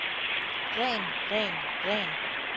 ren ren ren